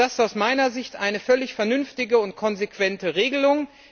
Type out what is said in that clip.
Das ist aus meiner Sicht eine völlig vernünftige und konsequente Regelung.